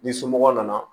Ni somɔgɔ nana